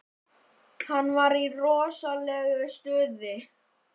Hann var í rosalegu stuði.